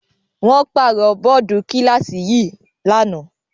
Wọ́n pàrọ̀ bọ́ọ́dù kíláàsì yìí lánàá.